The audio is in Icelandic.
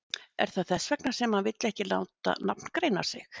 Er það þess vegna sem hann vill ekki láta nafngreina sig?